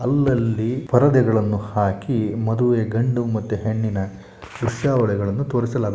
ಅಲ್ಲಲ್ಲಿ ಪರದೆಗಳನ್ನು ಹಾಕಿ ಮದುವೆ ಗಂಡು ಮತ್ತು ಹೆಣ್ಣಿನ ದೃಶ್ಯಾವಳಿಗಳನ್ನು ತೋರಿಸಲಾಗು--